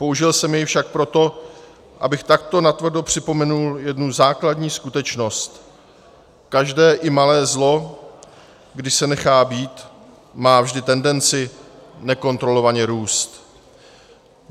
Použil jsem jej však proto, abych takto natvrdo připomenul jednu základní skutečnost: každé, i malé zlo, když se nechá být, má vždy tendenci nekontrolovatelně růst.